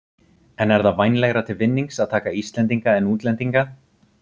En er það vænlegra til vinnings að taka Íslendinga en útlendinga?